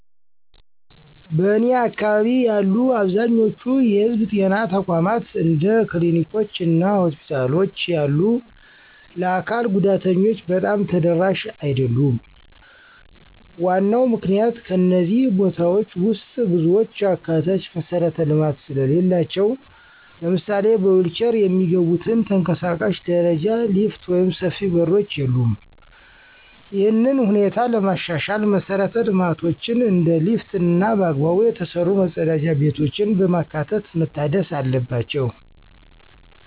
በእኔ አካባቢ ያሉ አብዛኛዎቹ የህዝብ ጤና ተቋማት እንደ ክሊኒኮች እና ሆስፒታሎች ያሉ የአካል ጉዳተኞች በጣም ተደራሽ አይደሉም። ዋናው ምክንያት ከእነዚህ ቦታዎች ውስጥ ብዙዎቹ አካታች መሠረተ ልማት ስለሌላቸው። ለምሳሌ በዊልቼር የሚገቡበት ተንቀሳቃሽ ደረጃ፣ ሊፍት ወይም ሰፊ በሮች የሉም። ይህንን ሁኔታ ለማሻሻል መሰረተ ልማቶችን እንደ ሊፍት እና በአግባቡ የተሰሩ መጸዳጃ ቤቶችን በማካተት መታደስ አለባቸው።